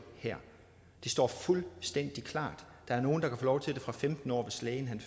det står fuldstændig klart der er nogle der kan få lov til det fra femten årsalderen